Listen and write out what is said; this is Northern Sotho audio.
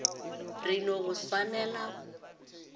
re no go swaela go